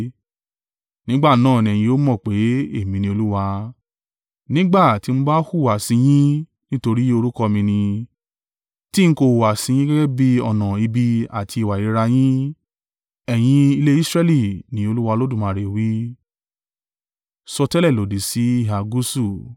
Nígbà náà ní ẹ̀yin yóò mọ̀ pé, Èmi ni Olúwa, nígbà tí mo bá hùwà sí yín nítorí orúkọ mi ni, tí ń kò hùwà sí yín gẹ́gẹ́ bí ọ̀nà ibi àti ìwà ìríra yín. Ẹ̀yin ilé Israẹli, ni Olúwa Olódùmarè wí.’ ”